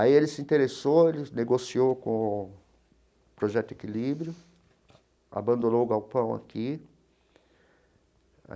Aí ele se interessou, ele negociou com o Projeto Equilíbrio, abandonou o galpão aqui.